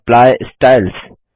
apply styles